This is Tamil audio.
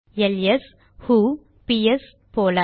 எல்எஸ் ஹு பிஎஸ்ps போல